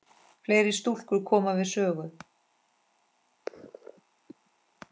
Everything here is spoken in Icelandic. Fleiri stúlkur koma við sögu.